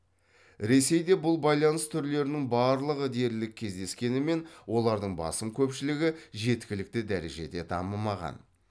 ресейде бұл байланыс түрлерінің барлығы дерлік кездескенімен олардың басым көпшілігі жеткілікті дәрежеде дамымаған